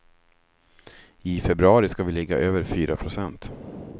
I februari ska vi ligga över fyra procent.